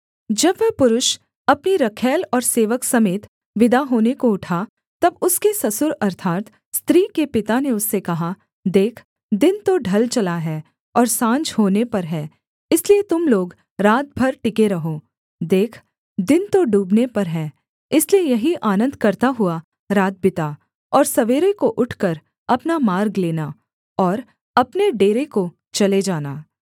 जब वह पुरुष अपनी रखैल और सेवक समेत विदा होने को उठा तब उसके ससुर अर्थात् स्त्री के पिता ने उससे कहा देख दिन तो ढल चला है और साँझ होने पर है इसलिए तुम लोग रात भर टिके रहो देख दिन तो डूबने पर है इसलिए यहीं आनन्द करता हुआ रात बिता और सवेरे को उठकर अपना मार्ग लेना और अपने डेरे को चले जाना